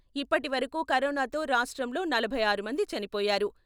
ఇప్పటి వరకూ కరోనాతో రాష్ట్రంలో నలభై ఆరు మంది చనిపోయారు.